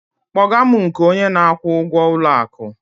kpọga m nke onye na-akwụ ụgwọ ụlọ akụ!